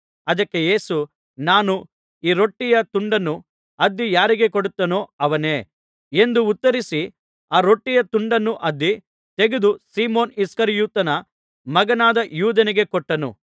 ಅದಕ್ಕೆ ಯೇಸು ನಾನು ಈ ರೊಟ್ಟಿಯ ತುಂಡನ್ನು ಅದ್ದಿ ಯಾರಿಗೆ ಕೊಡುತ್ತೇನೋ ಅವನೇ ಎಂದು ಉತ್ತರಿಸಿ ಆ ರೊಟ್ಟಿಯ ತುಂಡನ್ನು ಅದ್ದಿ ತೆಗೆದು ಸೀಮೋನ್ ಇಸ್ಕರಿಯೋತನ ಮಗನಾದ ಯೂದನಿಗೆ ಕೊಟ್ಟನು